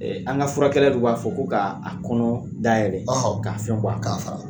An ka furakɛla dɔ b'a fɔ ko k'a kɔnɔ da yɛlɛ ko k'a fɛn b'a kɔnɔ k'a fara